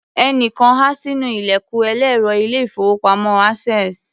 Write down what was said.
Ẹnìkan há sínú ilẹ̀kùn ẹlẹ́rọ ilé-ìfowópamọ́ Access.